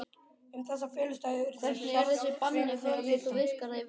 Um þessa felustaði urðu hjarðsveinarnir að vita.